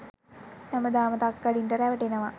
හැමදාම තක්කඩින්ට රැවටෙනව.